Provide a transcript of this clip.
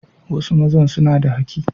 Wasu mazan suna da haki.